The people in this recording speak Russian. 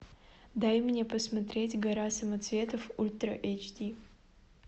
дай мне посмотреть гора самоцветов ультра эйч ди